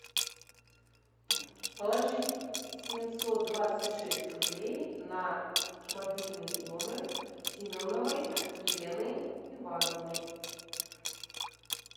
положить семьсот двадцать шесть рублей на мобильный номер семеновой елены ивановны